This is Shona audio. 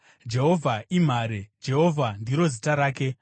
Jehovha imhare; Jehovha ndiro zita rake.